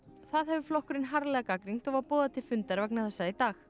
það hefur flokkurinn harðlega gagnrýnt og var boðað til fundar vegna þessa í dag